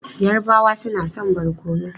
Yarabawa suna son barkono.